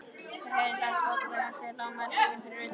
Þeir heyrðu hratt fótatak hans fjarlægjast á malbikinu fyrir utan.